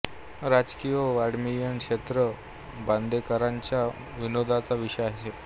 राजकीय व वाङमयीन क्षेत्र हा बांदेकरांच्या विनोदाचा विषय असे